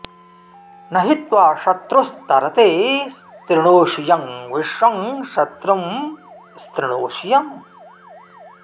नहि त्वा शत्रुः स्तरते स्तृणोषि यं विश्वं शत्रुं स्तृणोषि यम्